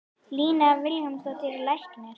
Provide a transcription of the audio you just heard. Lína Vilhjálmsdóttir er læknir.